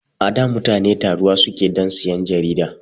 Ada mutani taruwa suke dan siyan jarida